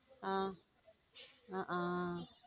ஹம் ஹம்